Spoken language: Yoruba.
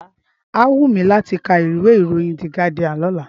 Á wù mí láti ká ìwé ìròyìn The Guardian lọ́la.